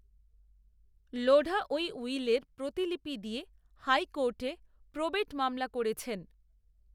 লোঢা ওই উইলের প্রতিলিপি দিয়ে হাইকোর্টে প্রবেট মামলা করেছেন